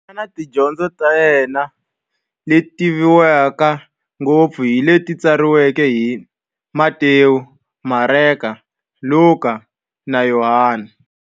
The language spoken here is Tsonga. Yena na tidyondzo ta yena, leti tivekaka ngopfu hi leti tsariweke hi-Matewu, Mareka, Luka, na Yohani.